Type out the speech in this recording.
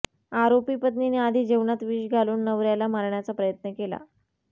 आरोपी पत्नीने आधी जेवनात विष घालून नवऱ्याला मारण्याचा प्रयत्न केला